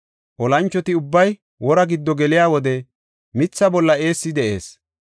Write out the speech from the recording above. Olanchoti ubbay wora giddo geliya wode mitha bolla eessi de7ees.